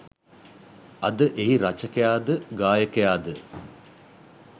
අද එහි රචකයා ද ගායකයා ද